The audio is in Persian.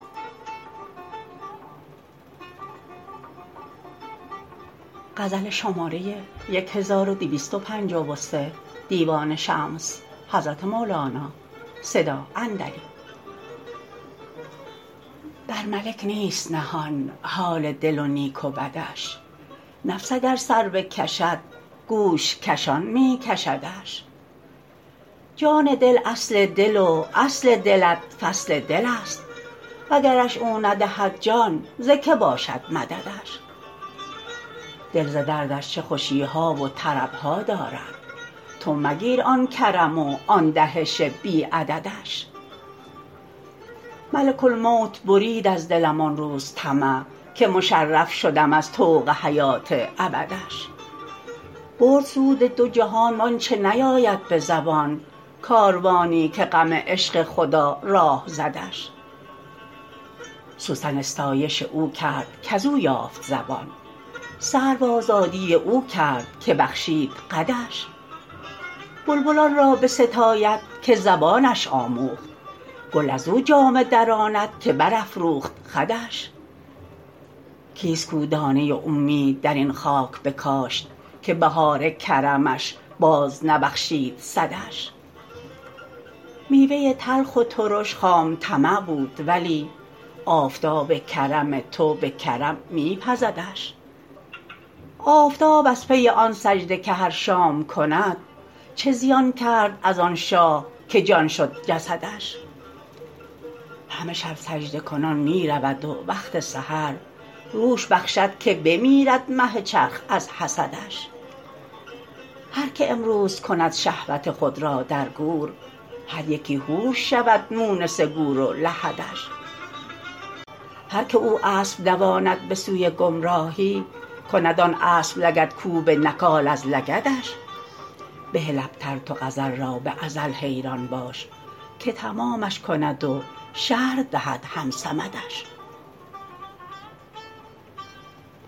بر ملک نیست نهان حال دل و نیک و بدش نفس اگر سر بکشد گوش کشان می کشدش جان دل اصل دل و اصل دلت فصل دلست وگرش او ندهد جان ز کی باشد مددش دل ز دردش چه خوشی ها و طرب ها دارد تو مگیر آن کرم وان دهش بی عددش ملک الموت برید از دلم آن روز طمع که مشرف شدم از طوق حیات ابدش برد سود دو جهان و آنچ نیاید به زبان کاروانی که غم عشق خدا راه زدش سوسن استایش او کرد کز او یافت زبان سرو آزادی او کرد که بخشید قدش بلبل آن را بستاید که زبانش آموخت گل از او جامه دراند که برافروخت خدش کیست کو دانه اومید در این خاک بکاشت که بهار کرمش بازنبخشید صدش میوه تلخ و ترش خام طمع بود ولی آفتاب کرم تو به کرم می پزدش آفتاب از پی آن سجده که هر شام کند چه زیان کرد از آن شاه که جان شد جسدش همه شب سجده کنان می رود و وقت سحر روش بخشد که بمیرد مه چرخ از حسدش هر که امروز کند شهوت خود را در گور هر یکی حور شود مونس گور و الحدش هر کی او اسب دواند به سوی گمراهی کند آن اسب لگدکوب نکال از لگدش بهل ابتر تو غزل را به ازل حیران باش که تمامش کند و شرح دهد هم صمدش